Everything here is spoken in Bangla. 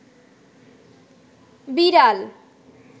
বিড়াল